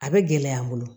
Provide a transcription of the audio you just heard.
A bɛ gɛlɛya n bolo